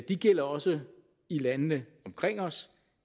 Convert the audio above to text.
de gælder også i landene omkring os